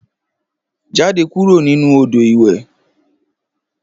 Jáde kúrò nínú odò ìwẹ̀